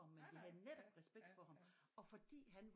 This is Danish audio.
Ham men vi havde netop respekt for ham og fordi han